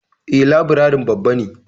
E, labirarin babba ne.